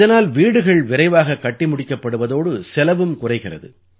இதனால் வீடுகள் விரைவாகக் கட்டி முடிக்கப்படுவதோடு செலவும் குறைகிறது